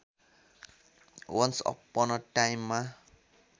once अपन अ टाइममा